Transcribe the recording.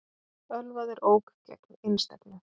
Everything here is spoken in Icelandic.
Ölvaður ók gegn einstefnu